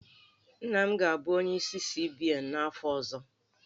Nna m ga-abụ onyeisi CBN n'afọ ọzọ